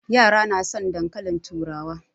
Yara na son dankalin turawa.